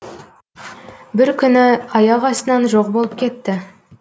бір күні аяқ астынан жоқ болып кетті